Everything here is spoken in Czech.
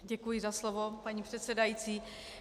Děkuji za slovo, paní předsedající.